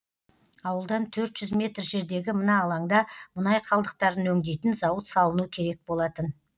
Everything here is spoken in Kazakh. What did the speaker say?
ауылдан төрт жүз метр жердегі мына алаңда мұнай қалдықтарын өңдейтін зауыт салыну керек болатын